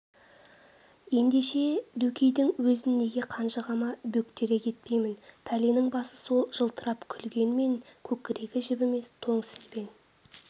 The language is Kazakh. ендеше дөкейдің өзін неге қанжығама бөктере кетпеймін пәленің басы сол жылтырап күлгенмен көкірегі жібімес тоң сізбен